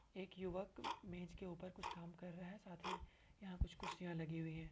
एक युवक मेज के ऊपर कुछ काम कर रहा है। साथ ही यहां कुछ कुर्सियां लगी हुई है।